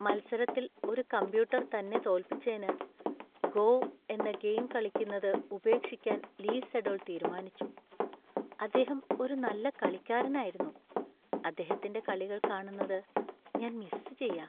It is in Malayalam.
മത്സരത്തിൽ ഒരു കമ്പ്യൂട്ടർ തന്നെ തോൽപ്പിച്ചേന് "ഗോ" എന്ന ഗെയിം കളിക്കുന്നത് ഉപേക്ഷിക്കാൻ ലീ സെഡോൾ തീരുമാനിച്ചു. അദ്ദേഹം ഒരു നല്ല കളിക്കാരനായിരുന്നു, അദ്ദേഹത്തിന്‍റെ കളികൾ കാണുന്നത് ഞാൻ മിസ് ചെയ്യാ.